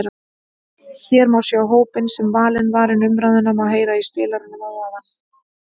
Hér má sjá hópinn sem valinn var en umræðuna má heyra í spilaranum að ofan.